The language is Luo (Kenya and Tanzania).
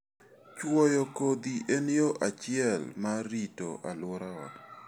Chwoyo kodhi en yo achiel mar rito alworawa.